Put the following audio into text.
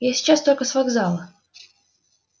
я сейчас только с вокзала